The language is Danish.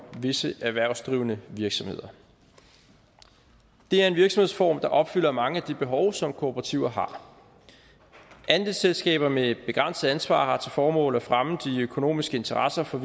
visse erhvervsdrivende virksomheder det er en virksomhedsform der opfylder mange af de behov som kooperativer har andelsselskaber med begrænset ansvar har til formål at fremme de økonomiske interesser for